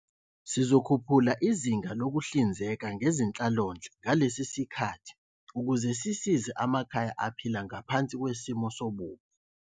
Sizokhuphula izinga lokuhlinzeka ngezenhlalonhle ngalesi sikhathi ukuze sisize amakhaya aphila ngaphansi kwesimo sobubha.